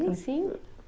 Sim